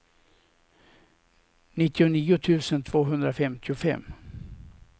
nittionio tusen tvåhundrafemtiofem